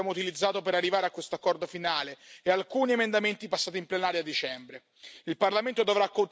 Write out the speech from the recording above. Lo testimoniano il tempo che abbiamo utilizzato per arrivare a questo accordo finale e alcuni emendamenti passati in plenaria a dicembre.